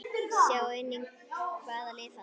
Sjá einnig: Hvaða lið falla?